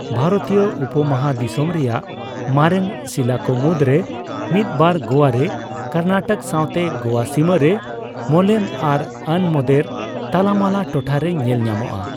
ᱵᱷᱟᱨᱚᱛᱤᱭᱚ ᱩᱯᱚᱢᱚᱦᱟᱫᱤᱥᱚᱢ ᱨᱮᱭᱟᱜ ᱢᱟᱨᱮᱱ ᱥᱤᱞᱟᱹ ᱠᱚ ᱢᱩᱫᱽᱨᱮ ᱢᱤᱫ ᱵᱟᱨ ᱜᱳᱣᱟ ᱨᱮ ᱠᱚᱨᱱᱟᱴᱚᱠ ᱥᱟᱣᱛᱮ ᱜᱳᱣᱟ ᱥᱤᱢᱟᱹᱨᱮ ᱢᱳᱞᱮᱢ ᱟᱨ ᱟᱱᱢᱳᱫᱮᱨ ᱛᱟᱞᱟᱢᱟᱞᱟ ᱴᱚᱴᱷᱟ ᱨᱮ ᱧᱮᱞ ᱧᱟᱢᱚᱜᱼᱟ ᱾